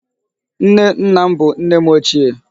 Nne nna m bụ nne m ochie.